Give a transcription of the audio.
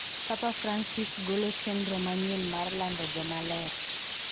Papa Francis golo chenro manyien mar lando jomaler